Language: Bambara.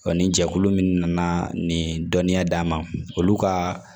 ni jɛkulu min nana nin dɔnniya d'an ma olu ka